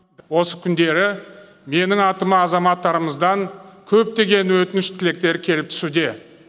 осы күндері менің атыма азаматтарымыздан көптеген өтініш тілектер келіп түсуде